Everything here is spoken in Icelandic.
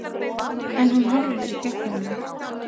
En hún horfir í gegnum mig